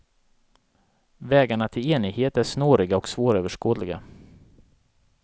Vägarna till enighet är snåriga och svåröverskådliga.